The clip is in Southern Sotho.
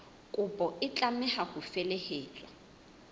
kopo e tlameha ho felehetswa